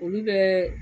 Olu bɛɛ